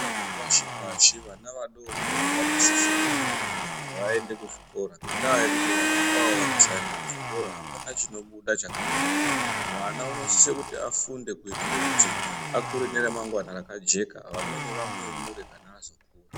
Zvikora zvepashi pashi, vana vadoodori vanosise kuti vaende kuzvikora. Ngendaya yokuti vana avavo vakasaende kuzvikora hapana chinobuda chakanaka. Mwana unosisa kuti afunde kuitira kuti akure neramangwani rakajeka vamweni vamuyemure kana azokura.